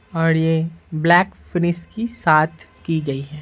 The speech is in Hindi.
और यह ब्लैक फिनिश की साथ की गई है।